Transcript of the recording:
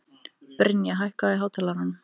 Brynja, hækkaðu í hátalaranum.